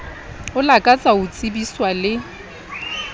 o lakatsa ho tsebiswa le